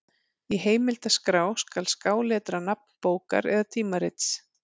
Í heimildaskrá skal skáletra nafn bókar eða tímarits.